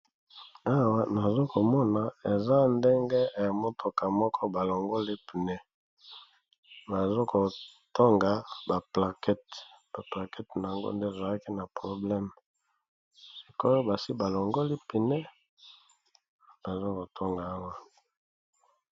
Awa nazo komona eza ndenge emotoka moko ba longoli pneu, bazo kotonga ba plaquete. Ba plaquete nango nde ezalaki na probleme, ko basi ba longoli pneu bazo ko tonga awa.